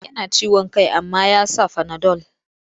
Yana ciwon kai amma ya sa fanadol.